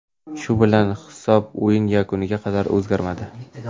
Shu bilan hisob o‘yin yakuniga qadar o‘zgarmadi.